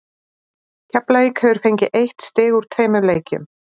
Keflavík hefur fengið eitt stig úr tveimur leikjum.